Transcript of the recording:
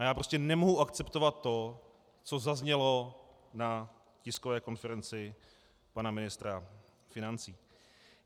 A já prostě nemohu akceptovat to, co zaznělo na tiskové konferenci pana ministra financí.